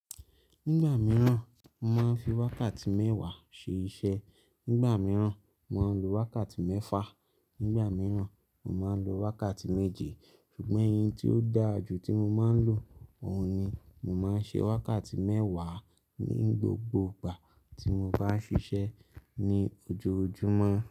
Nígbà mìíràn, mo máa ń fi wákàtí mẹ́wàá ṣe iṣẹ́, nígbà mìíràn, mo máa ń lo wákàtí mẹ́fà, nígbà mìíràn, mo máa ń lo wákàtí méje ṣùgbọ́n eyi tí ó dára jù tí mo máa ń lò, òun ni mo máa ń ṣe wákàtí mẹ́wàá ní gbogbo ìgbà tí mo bá ń ṣiṣẹ́ ní ojoojúmọ́